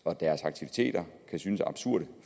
aktiviteter kan synes absurde